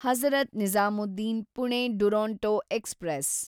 Hazrat Nizamuddin Pune Duronto express